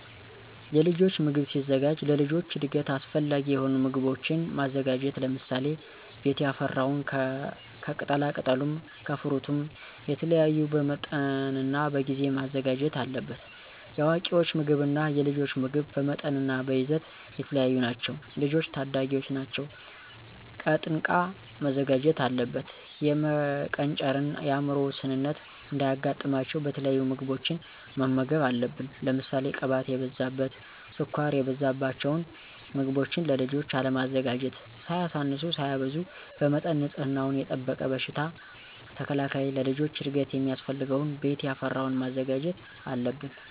የልጆች ምግብ ሲዘጋጅ ለልጆች እድገት አሰፈላጊ የሆኑ ምጎቦችን ማዘጋጀት ለምሳሌ፦ ቤት ያፈራውን ከቅጣላቅጠሉም ከፍሩትም የተለያዩ በመጠንናበጊዜ መዘጋጀት አለበት። የአዋቂወች ምግብ እና የልጆች ምግብ በመጠንናበይዘት የተለያዩ ናቸው። ልጆች ታዳጊወች ናቸው ቀጥንቃ መዘጋጀት አለበት። የመቀንጨርን የአምሮ ውስንነት እንዳያጋጥማቸው የተለያዩ ምግቦችን መመገብ አለብን። ለምሳሌ ቅባት የበዛበት፣ ስኳር የበዛበቸውን ምገቦችን ለልጆች አለማዘጋጀት። ሳያሳንሱ ሳያበዙ በመጠን ንፅህናወን የጠበቀ በሽታ ተከላካይ ለልጆች እድገት ሚያስፈልገውን ቤት ያፈራወን ማዘጋጀት አለብን።